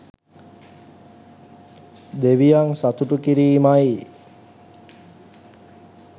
දෙවියන් සතුටු කිරීමයි.